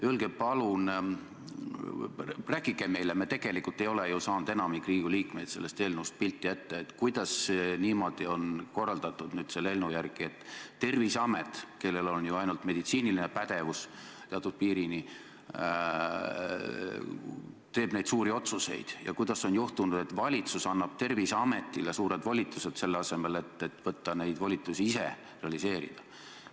Öelge palun, rääkige meile – enamik Riigikogu liikmeid ei ole tegelikult sellest eelnõust pilti ette saanud –, kuidas on selle eelnõu järgi nüüd korraldatud niimoodi, et Terviseamet, kellel on teatud piirini ju ainult meditsiiniline pädevus, teeb neid suuri otsuseid, ja kuidas on juhtunud, et valitsus annab suured volitused Terviseametile, selle asemel et võtta need volitused endale, neid ise realiseerida?